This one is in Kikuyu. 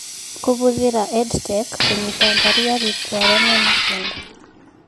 Kũhũthĩra EdTech kũnyita mbarũ arutwo arĩa mena SEND